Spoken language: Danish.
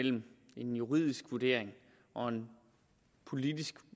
mellem en juridisk vurdering og en politisk